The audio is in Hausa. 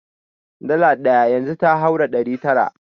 Dala ɗaya yanzu ta haura ɗari tara.